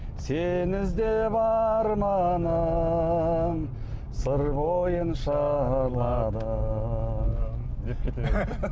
сені іздеп арманым сыр бойын шарладым